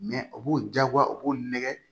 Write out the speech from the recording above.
u b'u diyagoya u b'u nɛgɛ